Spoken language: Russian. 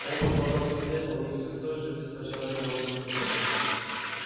он продолжал смотреть на них всё с той же беспощадной голодной тоской